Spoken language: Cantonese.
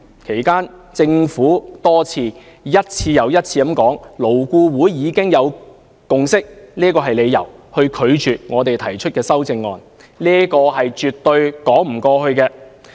其間，政府亦多次以"勞工顧問委員會已有共識"為由，拒絕接受我們提出的修正案，這是絕對說不通的。